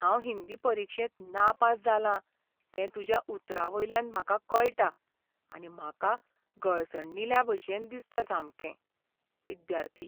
हांव हिंदी परिक्षेंत नापास जालां तें तुज्या उतरांवयल्यान म्हाका कळटा आनी म्हाका गळसणिल्ल्याभशेन दिसता सामकें. विद्यार्थी